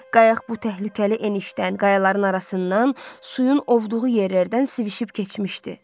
Qayıq bu təhlükəli enişdən qayaların arasından suyun ovduğu yerlərdən svişib keçmişdi.